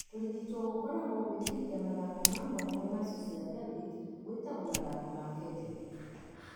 Kũrigito gũkoragwo gũĩkithia mathako ma mwanya masũ cia pelvic gwĩtagwo mathako ma kegel.